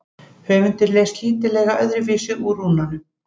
Höfundur les lítillega öðruvísi úr rúnunum.